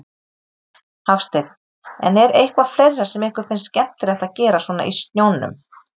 Hafsteinn: En er eitthvað fleira sem ykkur finnst skemmtilegt að gera svona í snjónum?